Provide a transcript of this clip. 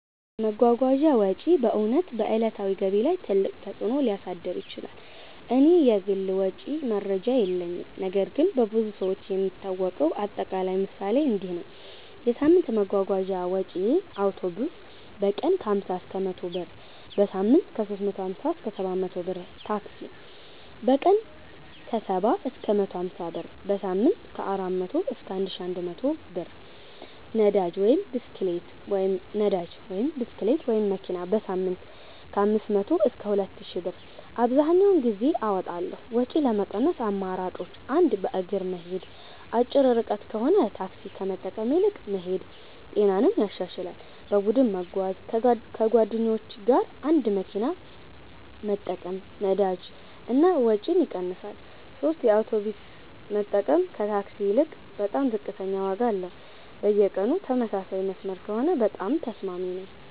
የመጓጓዣ ወጪ በእውነት በዕለታዊ ገቢ ላይ ትልቅ ተፅእኖ ሊያሳድር ይችላል። እኔ የግል ወጪ መረጃ የለኝም ነገር ግን በብዙ ሰዎች የሚታወቀው አጠቃላይ ምሳሌ እንዲህ ነው፦ የሳምንት የመጓጓዣ ወጪዬ አውቶቡስ: በቀን 50–100 ብር → በሳምንት 350–700 ብር ታክሲ: በቀን 70–150 ብር → በሳምንት 400–1100+ ብር ነዳጅ (ብስክሌት/መኪና): በሳምንት 500–2000+ ብር አብዘሀኛውን ጊዜ አወጣለሁ ወጪ ለመቀነስ አማራጮች 1. በእግር መሄድ አጭር ርቀት ከሆነ ታክሲ ከመጠቀም ይልቅ መሄድ ጤናንም ያሻሽላል 2. በቡድን መጓጓዣ ከጓደኞች ጋር አንድ መኪና መጠቀም ነዳጅ እና ወጪ ይቀንሳል 3 የአውቶቡስ መጠቀም ከታክሲ ይልቅ በጣም ዝቅተኛ ዋጋ አለው በየቀኑ ተመሳሳይ መስመር ከሆነ በጣም ተስማሚ ነው